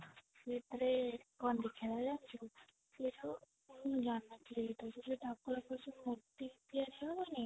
ସେଇଥିରେ କଣ ଦେଖା ଗଲା ଜାଣିଛୁ ମୁଁ ଜାଣିନଥିଲି ଏଇଟା ସବୁ ସେ ଯଉ ଠାକୁର ଙ୍କ ମୂର୍ତ୍ତି ତିଆରି ହବନି